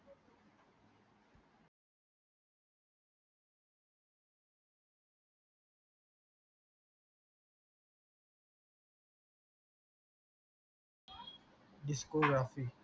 इसको व्यापी